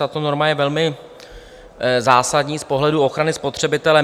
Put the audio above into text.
Tato norma je velmi zásadní z pohledu ochrany spotřebitele.